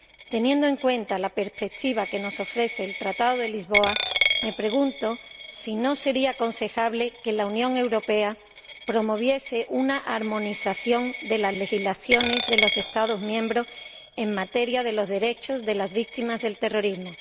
Teniendo en cuenta la perspectiva que nos ofrece el Tratado de Lisboa, me pregunto si no sería aconsejable que la Unión Europea promoviese una armonización de las legislaciones de los Estados miembros en materia de derechos de las víctimas del terrorismo.